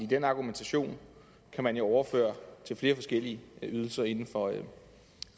den argumentation kan man jo overføre til flere forskellige ydelser inden for